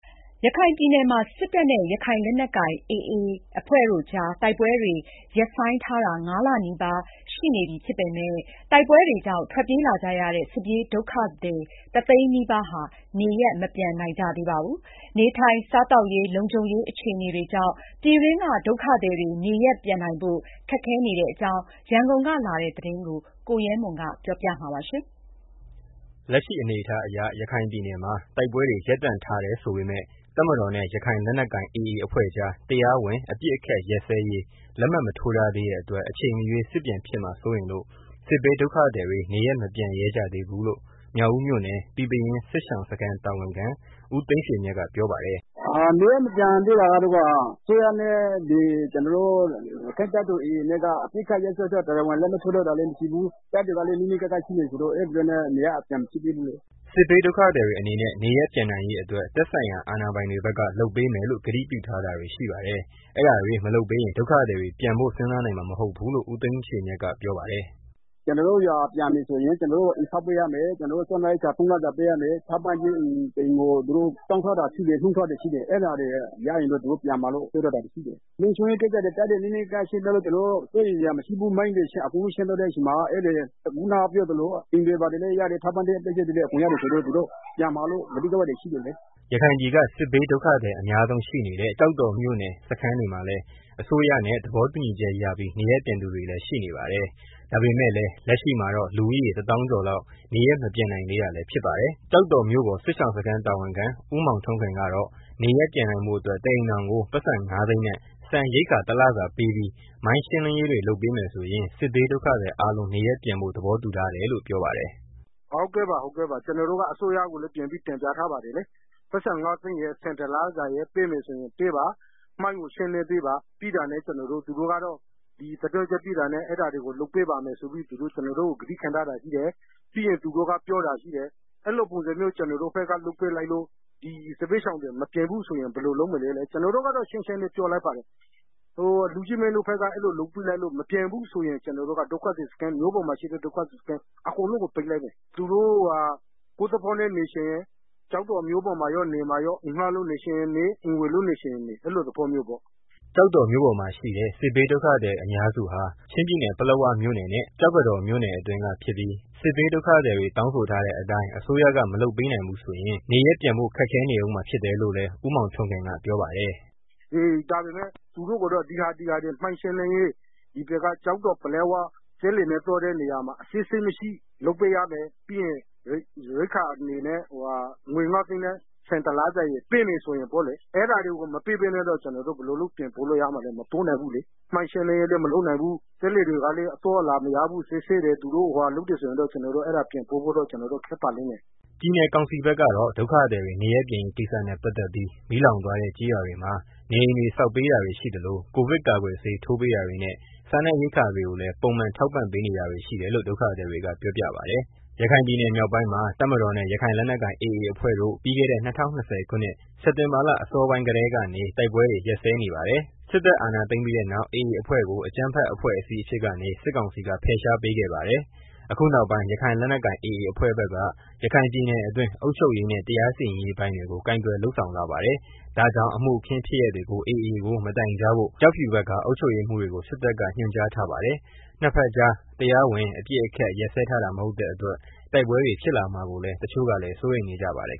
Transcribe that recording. ရခိုင်ပြည်နယ်မှာ စစ်တပ်နဲ့ ရခိုင်လက်နက်ကိုင် AA အဖွဲ့တို့ကြား တိုက်ပွဲတွေ ရပ်ဆိုင်းထား တာ ၅ လနီးပါးရှိနေပြီးဖြစ်ပေမယ့် တိုက်ပွဲတွေကြောင့် ထွက်ပြေးလာကြရတဲ့ စစ်ပြေးဒုက္ခသည် တစ်သိန်းနီးပါး နေရပ် မပြန်နိုင်ကြသေးပါဘူး။ နေထိုင်စားသောက်ရေး၊ လုံခြုံရေး အခြေအနေတွေကြောင့် ပြည်တွင်းဒုက္ခသည်တွေ နေရပ်ပြန်နိုင်ဖို့ ခက်ခဲနေတဲ့အကြောင်း ရန်ကုန်ကလာတဲ့ သတင်းကို ကိုရဲမွန် တင်ပြပေးပါမယ်။ လက်ရှိအနေအထားအရ ရခိုင်ပြည်နယ်မှာ တိုက်ပွဲတွေ ရပ်တန့်ထားတယ်ဆိုပေမယ့် တပ်မတော်နဲ့ ရခိုင်လက်နက်ကိုင် AAအဖွဲ့ကြား တရားဝင် အပစ်အခတ်ရပ်စဲရေး လက်မှတ်မထိုးထားသေးတဲ့အတွက် အချိန်မရွေးစစ်ပြန်ဖြစ်မှာ စိုးရိမ်လို့ စစ်ဘေးဒုက္ခသည်တွေ နေရပ်မပြန်ရဲကြသေးဘူးလို့ မြောက်ဦးမြို့နယ် ပီပင်ရင်း စစ်ရှောင်စခန်းတာဝန်ခံ ဦး သိန်းရွှေမြတ်က ပြောပါတယ်။ “နေရပ်မပြန်သေးတာကတော့ အစိုးရနဲ့ ကျနော်တို့ ရက္ခိုင့်တပ်တော် AAနဲ့က အပစ်အခတ် ရပ်စဲရေး တရားဝင် လက်မှတ်ထိုးထားတာလည်း မရှိသေးဘူး။ တပ်တွေကလည်း နီးနီးကပ် ကပ်ရှိနေကြတာဆိုတော့ အဲတာကြောင့် နေရပ်မပြန်ဖြစ်ဘူးလေ။” စစ်ဘေးဒုက္ခသည်တွေအနေနဲ့ နေရပ်ပြန်နိုင်ရေးအတွက် သက်ဆိုင်ရာအာဏာပိုင်တွေ ဘက်က လုပ်ပေးမယ်လို့ ကတိပြုထားတာတွေရှိပါတယ်။ အဲဒါတွေ မလုပ်ပေးရင် ဒုက္ခသည်တွေ ပြန်ဖို့ စဉ်စားနိုင်မှာ မဟုတ်ဘူးလို့ ဦးသိန်းရွှေမြတ်က ပြောပါတယ်။ “ ကျနော်တို့ အိမ်ကို ပြန်မယ်ဆိုရင် ကျနော်တို့ကို အိမ်ဆောက်ပေးရမယ်။ ကျနော်တို့ကို စားနပ်ရိက္ခာသုံးလစာပေးရမယ်။ ထောက်ပံ့ကျေး အိမ်တစ်အိပ်ကို သူတို့တောင်းထား တာရှိ တယ်။ နှုန်းထားတွေရှိတယ်။ အဲတာတွေ ရရင်တော့ သူတို့ပြန်မယ်လို့ ပြောထားတာရှိတယ်။ လုံခြုံရေး ကိစ္စတွေ တပ်တွေ ပြန်ဆုတ်ပေးမယ်။ မိုင်းတွေ အကုန်လုံးရှင်းပေးမယ်၊ အိမ်တွေဘာတွေ ဆောင်ပေးမယ်။ ထောက်ပံ့ကျေးတွေ ရတယ်ဆိုရင် ပြန်မယ်လို့ ကတိပေးထားရှိတယ်လေ။” ရခိုင်ပြည်က စစ်ဘေးဒုက္ခသည် အများဆုံးရှိနေတဲ့ ကျောက်တော်မြို့နယ်က စခန်းတွေမှာတော့ အစိုးရနဲ့ သဘောတူညီချက်ရပြီး နေရပ်ပြန်သူတွေလည်း ရှိနေပါတယ်။ ဒါပေမယ့်လည်း လက်ရှိမှာတော့ လူဦးရေ တစ်သောင်းကျော်လောက် နေရပ်မပြန်နိုင်သေးတာ လည်းဖြစ် ပါတယ်။ ကျောက်တော်မြို့ပေါ် စစ်ရှောင်စခန်းတာဝန်ခံ ဦးမောင်ထွန်းခင်ကတော့ နေရပ်ပြန်နိုင်ဖို့အတွက် တစ်အိမ်ထောင်ကို ပိုက်ဆံငါးသိန်းနဲ့ ဆန်ရိက္ခာ တလစာ ပေးပြီး မိုင်းရှင်းလင်းရေးတွေ လုပ်ပေးမယ်ဆိုရင် စစ်ဘေးဒုက္ခသည်အားလုံးနေရပ်ပြန်ဖို့ သဘောတူထား တယ်လို့ ပြောပါတယ်။ “ ကျနော်တို့ကတော့ အစိုးရကိုလည်း တင်ပြထားပါတယ်။ ပိုက်ဆံငါးသိန်းရယ်၊ ဆန်တလစာပေးပါ။ မိုင်းတွေကို ရှင်းလင်းပေးပါ။သူတို့ကတော့ ဒီသီတင်းကျွက်ပြီးတာနဲ့ အဲတာတွေကို လုပ်ပေးပါမယ်ဆိုပြီး ကတိခံထားတာရှိတယ်။ ပြီးရင် သူတို့က ပြောတာရှိတယ်။ အဲလိုပုံစံမျိုး သူတို့ဖက်က နေရပ်မပြန်ရင် ဒီစစ်ဘေးရှောင်တွေ မပြန်ဘူးဆိုရင် ဘယ်လိုလုပ် မလဲတဲ့ ကျနေ်ာတို့ကတော့ ရှင်းရှင်းလေး ပြောလိုက်ပါတယ်။ လူကြီးမင်းတို့ဖက်က အဲလို လုပ်ပေးလို့ သူတို့မပြန်ရင် စစ်ရှောင်စခန်းတွေအကုန်လုံးကို ပိတ်လိုက်မယ်။နေချင်တဲ့ သူတွေက အိမ်ငှားပြီးနေရင်နေ အိမ်ဝယ်လို့ နေချင်ရင်နေအဲလိုသဘောမျိုးပေါ့။” ကျောက်တော်မြို့ပေါ်မှာ ရှိတဲ့ စစ်ဘေးဒုက္ခသည်တွေ အများစုဟာ ပလက်ဝ မြို့နယ်နဲ့ ကျောက်တော် မြို့နယ်အတွင်းက ဖြစ်ပြီး စစ်ဘေးဒုက္ခသည်တွေ တောင်းဆိုထားတဲ့ အတိုင်း အစိုးရက မလုပ်ပေးနိုင်ဘူးဆိုရင် နေရပ်ပြန်ဖို့ ခက်ခဲနေအုံးမှာ ဖြစ်တယ်လို့လည်း ဦးမောင်ထွန်းခင်က ပြောပါတယ်။ “ ဒါပေမယ့် သူတို့ကိုတော့ ကျောက်တော်နဲ့ ပလက်ဝ သွားတဲ့ လမ်းတလျှောက် အစစ်အဆေးမရှိ လုပ်ပေးရမယ်။ မိုင်းရှင်းလင်းပေးရမယ်။ ငွေငါးသိန်းနဲ့ ဆန်ရိက္ခာ တလစာ ပေးမယ်ဆိုရင်ပေါ့လေ။ အဲတာတွေ မလုပ်ပေးနိုင်ရင်တော့ ကျနော်တို့ ဘယ်လိုလုပ် ပြန်ပို့ပေးမှာလဲ။ မပို့ပေးနိုင်ဘူးလေ။ မိုင်းရှင်းလင်းရေးတွေ မလုပ်ပေးနိုင်ဘူး။ ပလက်ဝ၊ ကျောက်တော် ရေလမ်းတစ်လျှောက် စက်လှေတွေကိုလည်း စစ်ဆေးတာတွေ လုပ်တယ်ဆိုရင်တော့ သူတို့ကို ပြန်ပို့ဖို့ ခက်ပါလိမ့်မယ်။” ပြည်နယ်ကောင်စီဖက်ကတော့ ဒုက္ခသည်တွေ နေရပ်ပြန်ရေးကိစ္စနဲ့ ပတ်သတ်ပြီး မီးလောင်သွားတဲ့ ကျေးရွာတွေမှာနေအိမ်တွေ ဆောက်ပေးတာတွေရှိသလို ကိုဗစ်ကာကွယ်ဆေးထိုးပေးတာတွေနဲ့ စားနပ်ရိက္ခာတွေကိုလည်း ပုံမှန်ထောက်ပံ့ပေးတာတွေ ရှိတယ်လို့ ဒုက္ခသည်တွေက ပြောပြပါတယ်။ ရခိုင်ပြည်နယ်မြောက်ပိုင်းမှာ တပ်မတော်နဲ့ ရခိုင်လက်နက်ကိုင် AA အဖွဲ့တို့ ပြီးခဲ့တဲ့ ၂၀၂၀ ခုနှစ် စက်တင်ဘာလ အစောပိုင်းကတည်းကနေ ဒီကနေ့အထိ တိုက်ပွဲတွေ ရပ်စဲနေပါတယ်။ စစ်တပ်အာဏာသိမ်းပြီးတဲ့နောက် AA အဖွဲ့ကို အကြမ်းဖက်အဖွဲ့အစည်းအဖြစ်ကနေ စစ်ကောင်စီက ဖယ်ရှားပေးခဲ့ပါတယ်။ အခုနောက်ပိုင်း ရခိုင်လက်နက်ကိုင် AA အဖွဲ့ဖက်က ရခိုင်ပြည်နယ်အတွင်း အုပ်ချုပ်ရေးနဲ့ တရားစီရင်ရေး ပိုင်းတွေကို ကိုင်တွယ်လုပ်ဆောင်လာပါတယ်။ ဒါကြောင့် အမှုအခင်းဖြစ်ရပ်တွေကို AA ကို မတိုင်ကြားဘို့ ကျောက်ဖြူဘက်က အုပ်ချုပ်ရေးမှူးတွေကို စစ်တပ်က ညွှန်ကြားထားပါတယ်။ ၂ ဘက်ကြား တရားဝင် အပစ်အခတ် ရပ်စဲထားတာမဟုတ်တဲ့အတွက် တိုက်ပွဲတွေ ဖြစ်ပွားလာမှာကို တချို့ကလည်း စိုးရိမ်နေကြပါတယ်